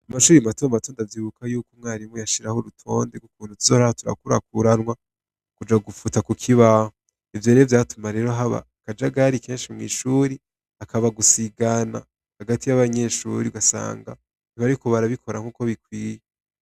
Mu mashure matomato ndavyibuka ko umwarimu yashiraho urutonde tuzohora turakurakuranwa kuja gufuta kukibaho ivyo vyatuma haba akajagari kenshi mwishure hakaba gusigana Hagati ya banyeshure ugasanga ntibariko barabikora uko bikwiye.